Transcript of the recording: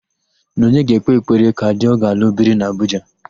Nọnye ga-ekpe ekpere ka di ọ ga-alụ biri n'Abuja.